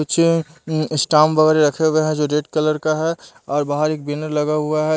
कुछ स्टाम वगैरह रखे हुए हैं जो रेड कलर का है और बाहर एक बेनर लगा हुआ है।